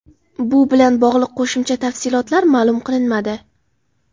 Bu bilan bog‘liq qo‘shimcha tafsilotlar ma’lum qilinmadi.